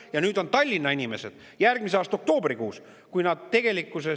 Ja nüüd on Tallinna inimesed järgmise aasta oktoobrikuus, kui nad tegelikkuses …